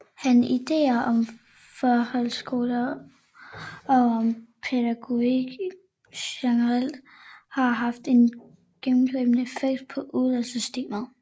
Han ideer om folkehøjskolen og om pædagogik generelt har haft en gennemgribende effekt på uddannelsessystemet